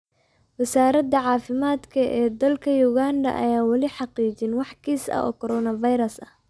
Wasaaradda caafimaadka ee dalka Uganda ayaan weli xaqiijinin wax kiis ah oo Coronavirus ah.